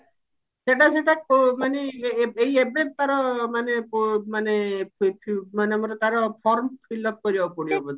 ସେଇଟା ସେଇଟା ଅ ମାନେ ଏଇ ଏବେ ତାର ମାନେ ପ ମାନେ ମାନେ ଗୋଟେ ତାର form fill up କରିବାକୁ ପଡିବ ବୋଧେ